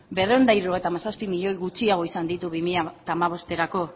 berrehun eta hirurogeita hamazazpi milioi gutxiago izan ditu bi mila hamabosterako